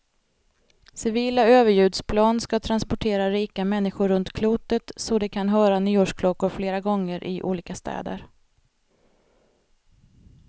Civila överljudsplan ska transportera rika människor runt klotet så de kan höra nyårsklockor flera gånger, i olika städer.